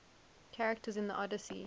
characters in the odyssey